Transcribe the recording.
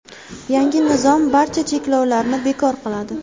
Yangi nizom barcha cheklovlarni bekor qiladi.